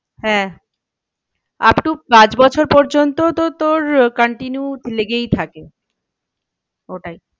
হ্যাঁ up to পাঁচ বছর পর্যন্ত তো তোর continue লেগেই থাকে ওটাই